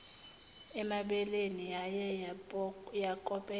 emabeleni yaye yakopela